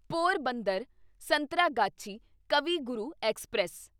Porbandar Santragachi Kavi Guru express